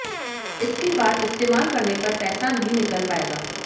इसके बाद इस्तेमाल करने पर पैसा नहीं निकल पाएगा